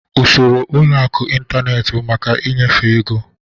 Usoro ụlọ akụ n'ịntanetị bụ maka ịnyefe ego.